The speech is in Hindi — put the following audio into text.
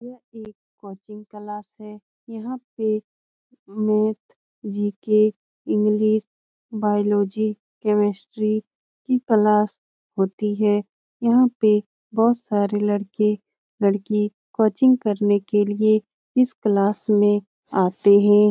यह एक कोचिंग क्लास है। यहाँ पे math GK. English biology chemistry की क्लास होती है। यहाँ पे बहुत सारे लड़के-लड़की कोचिंग करने के लिये इस क्लास में आते हैं।